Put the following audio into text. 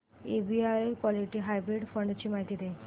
SBI equity hybrid fund ची माहिती दे